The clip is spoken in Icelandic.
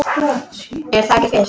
Er það ekki Fis?